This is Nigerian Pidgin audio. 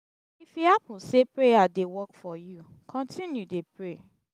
if e hapun sey prayer dey work for yu kontinu dey pray